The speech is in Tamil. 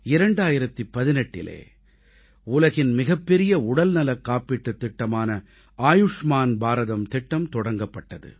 2018இலே உலகின் மிகப்பெரிய உடல்நலக் காப்பீட்டுத் திட்டமான ஆயுஷ்மான் பாரதம் திட்டம் தொடங்கப்பட்டது